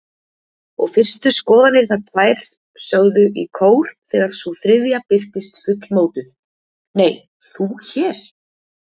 Og fyrstu skoðanirnar tvær sögðu í kór þegar sú þriðja birtist fullmótuð: Nei, þú hér?